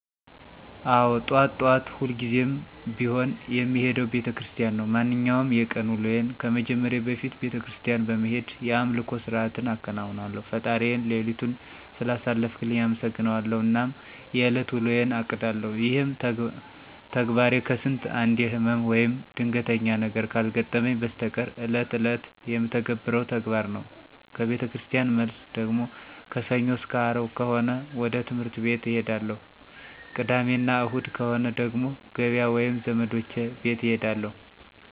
አዎ ጠዋት ጠዋት ሁልጊዜም ቢሆን የምሄደው ቤተክርስቲያን ነው። ማንኛውንም የቀን ውሎዬን ከመጀመሬ በፊት ቤተክርስቲያን በመሄድ የአምልኮ ስርዓትን አከናውናለሁ፣ ፈጣሪዬን ሌሊቱን ስላሳለፈልኝ አመሠግነዋለሁ አናም የእለት ውሎዬን አቅዳለሁ። ይሄም ተግባሬ ከስንት አንዴ ህመም ወይም ድንገተኛ ነገር ካልገጠመኝ በስተቀር እለት እለት የምተገብረው ተግባር ነው። ከቤተክርስቲያን መልስ ደግሞ ከሰኞ አስከ አርብ ከሆነ ወደ ትህምርት ቤት እሄዳለሁ። ቅዳሜ እና እሁድ ከሆነ ደግሞ ገበያ ወይም ዘመዶቼ ቤት እሄዳለሁ።